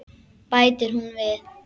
Bætir hún við.